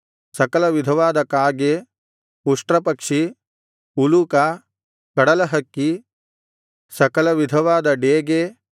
ಸಕಲವಿಧವಾದ ಕಾಗೆ ಉಷ್ಟ್ರಪಕ್ಷಿ ಉಲೂಕ ಕಡಲಹಕ್ಕಿ ಸಕಲವಿಧವಾದ ಡೇಗೆ